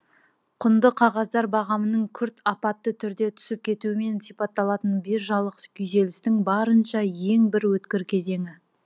құнды қағаздар бағамының күрт апатты түрде түсіп кетуімен сипатталатын биржалық күйзелістің барынша ең бір өткір кезеңі